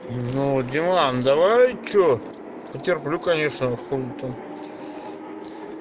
нуу диман давай что потерплю конечно а хули там